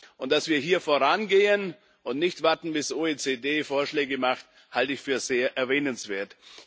Und dass wir hier vorangehen und nicht warten, bis die OECD Vorschläge macht, halte ich für sehr erwähnenswert.